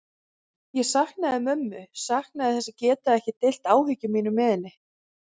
Ég saknaði mömmu, saknaði þess að geta ekki deilt áhyggjum mínum með henni.